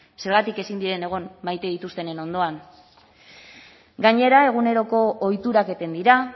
zergatik ezin diren egon maite dituztenen ondoan gainera eguneroko ohiturak eten dira